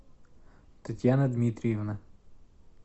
татьяна дмитриевна